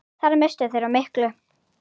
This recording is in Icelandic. Þar misstu þeir af miklu.